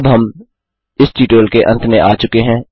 अब हम इस ट्यूटोरियल के अंत में आ चुके हैं